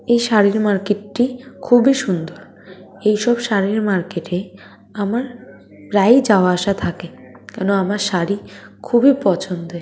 এই শাড়ির মার্কেট -টি খুবই সুন্দর | এইসব শাড়ির মার্কেট -এ আমার প্রায়ই যাওয়া আসা থাকে কেননা আমার শাড়ি খুবই পছন্দের।